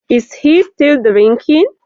Is he still drinking?